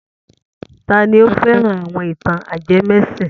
Ta ni ó fẹ́ran àwọn ìtàn ajẹmẹ́sìn?